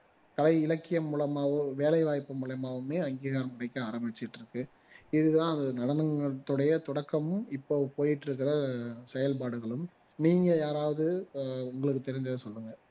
கலை இலக்கியம் மூலமாகவும் வேலை வாய்ப்பு மூலமாகவுமே அங்கீகாரம் கிடைக்க ஆரம்பிச்சுட்டு இருக்கு இது தான் அந்த நடனத்துடைய தொடக்கமும் இப்போ போயிட்டு இருக்கிற செயல்பாடுகளும் நீங்க யாராவது ஆஹ் உங்களுக்கு தெரிஞ்சதை சொல்லுங்க